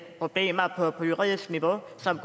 problemer på juridisk niveau som